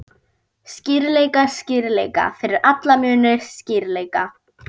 Skýrleika, skýrleika, fyrir alla muni skýrleika!